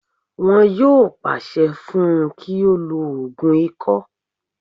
Wọn yóò pàṣẹ fún un kí ó lo ògùn ikọ́